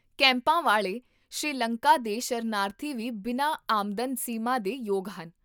ਕੈਂਪਾਂ ਵਾਲੇ ਸ਼੍ਰੀਲੰਕਾ ਦੇ ਸ਼ਰਨਾਰਥੀ ਵੀ ਬਿਨਾਂ ਆਮਦਨ ਸੀਮਾ ਦੇ ਯੋਗ ਹਨ